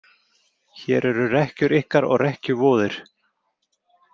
Hér eru rekkjur ykkar og rekkjuvoðir